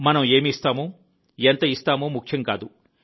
మనం ఏమి ఇస్తామో ఎంత ఇస్తామో ముఖ్యం కాదు